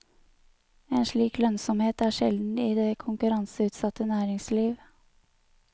En slik lønnsomhet er sjelden i det konkurranseutsatte næringsliv.